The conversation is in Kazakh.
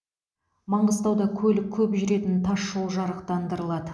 маңғыстауда көлік көп жүретін тас жол жарықтандырылады